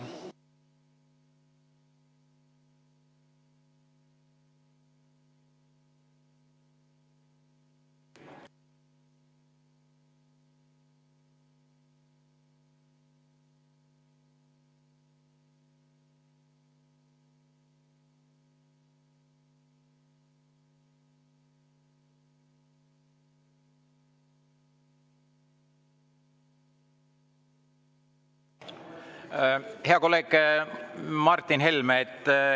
Hea kolleeg Martin Helme!